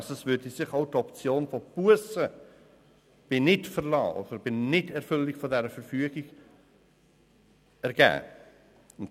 » Es würde sich also auch die Option von Bussen bei Nichtverlassen, also bei Nichterfüllung dieser Verfügung, ergeben.